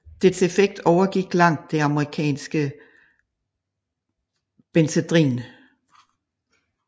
Dets effekt overgik langt det amerikanske benzedrin